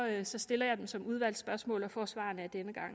ellers stiller jeg dem som udvalgsspørgsmål og får svarene der